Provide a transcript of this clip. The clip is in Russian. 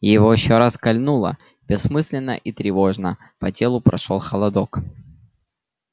его ещё раз кольнуло бессмысленно и тревожно по телу прошёл холодок